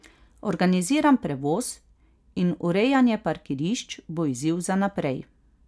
Organiziran prevoz in urejanje parkirišč bo izziv za naprej.